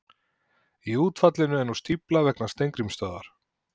Í útfallinu er nú stífla vegna Steingrímsstöðvar.